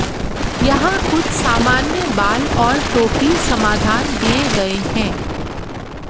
यहां कुछ सामान्य बाल और टोपी समाधान दिए गए हैं